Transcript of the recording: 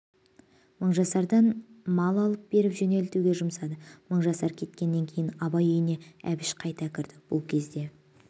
мыңжасардан мал алып беріп жөнелтуге жұмсады мыңжасар кеткеннен кейін абай үйіне әбіш қайта кірді бұл кезде